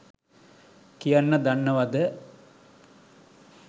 කියන්න දන්නවද?